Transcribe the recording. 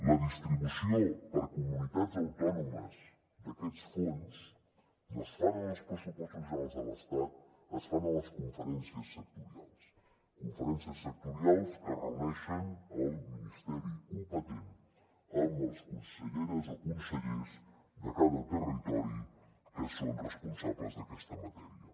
la distribució per comunitats autònomes d’aquests fons no es fan en els pressupostos generals de l’estat es fan a les conferències sectorials conferències sectorials que reuneixen el ministeri competent amb les conselleres o consellers de cada territori que són responsables d’aquesta matèria